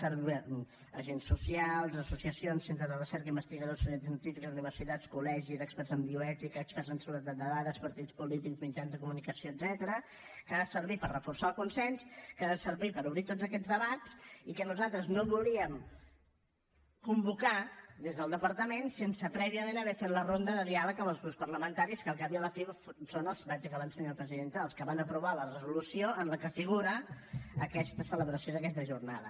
agents socials associacions centres de recerca investigadors societats científiques universitats col·legis experts en bioètica experts en seguretat de dades partits polítics mitjans de comunicació etcètera que ha de servir per reforçar el consens que ha de servir per obrir tots aquest debats i que nosaltres no volíem convocar des del departament sense prèviament haver fet la ronda de diàleg amb els grups parlamentaris que al cap i a la fi són els vaig acabant senyora presidenta que van aprovar la resolució en la qual figura aquesta celebració d’aquesta jornada